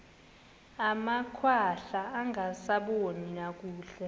amakhwahla angasaboni nakakuhle